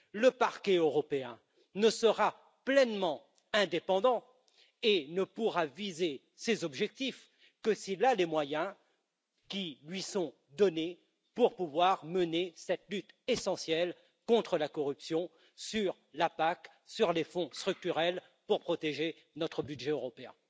Ce dernier ne sera pleinement indépendant et ne pourra viser ses objectifs que s'il a les moyens qui lui sont donnés pour pouvoir mener cette lutte essentielle contre la corruption sur la PAC et sur les fonds structurels pour protéger notre budget européen.